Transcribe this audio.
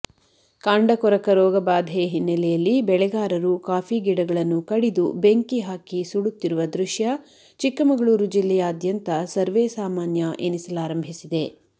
ಕಾಂಡ ಕೊರಕ ರೋಗ ಬಾಧೆ ಹಿನ್ನೆಲೆಯಲ್ಲಿ ಬೆಳೆಗಾರರು ಕಾಫಿಗಿಡಗಳನ್ನು ಕಡಿದು ಬೆಂಕಿಹಾಕಿ ಸುಡುತ್ತಿರುವ ದೃಶ್ಯ ಚಿಕ್ಕಮಗಳೂರು ಜಿಲ್ಲೆಯಾದ್ಯಂತ ಸರ್ವೇಸಾಮಾನ್ಯ ಎನಿಸಲಾರಂಭಿಸಿದೆ